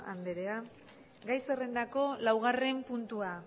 andrea gai zerrendako laugarren puntua